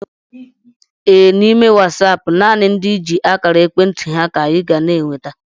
Ee, n'ime Wasaapụ nanị ndị i ji akara ekwentị ha ka I ga n'enweta